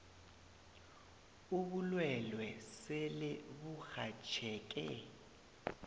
ubulwelwe sele burhatjheke